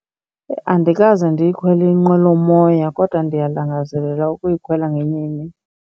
Andikaze ndiyikhwele inqwelomoya kodwa ndiyalangazelela ukuyikhwela ngenye imini.